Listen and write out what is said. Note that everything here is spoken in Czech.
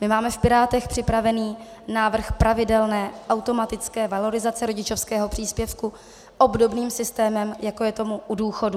My máme v Pirátech připraven návrh pravidelné automatické valorizace rodičovského příspěvku obdobným systémem, jako je tomu u důchodů.